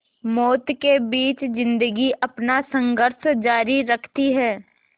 मौत के बीच ज़िंदगी अपना संघर्ष जारी रखती है